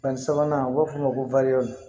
Fɛn sabanan u b'a f'o ma ko